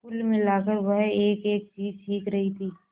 कुल मिलाकर वह एकएक चीज सीख रही थी